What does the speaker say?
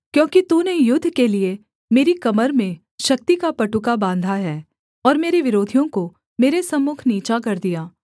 क्योंकि तूने युद्ध के लिये मेरी कमर में शक्ति का पटुका बाँधा है और मेरे विरोधियों को मेरे सम्मुख नीचा कर दिया